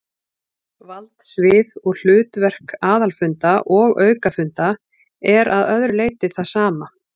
Valdsvið og hlutverk aðalfunda og aukafunda er að öðru leyti það sama.